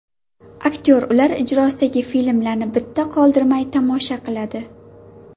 Aktyor ular ijrosidagi filmlarni bitta qoldirmay tomosha qiladi.